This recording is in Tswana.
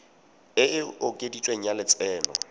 e e okeditsweng ya lotseno